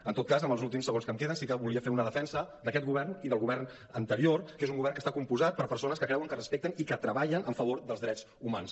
en tot cas en els últims segons que em queden sí que volia fer una defensa d’aquest govern i del govern anterior que és un govern que està compost per persones que creuen que respecten i que treballen a favor dels drets humans